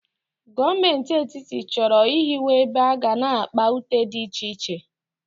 Gọọmenti Etiti chọrọ ịhiwe ebe aga na-akpa ute dị iche iche.